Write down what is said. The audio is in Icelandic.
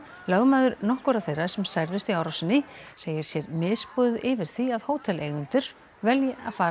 lögmaður nokkurra þeirra sem særðust í árásinni segir sér misboðið yfir því að hóteleigendur velji að fara